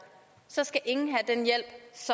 skal ingen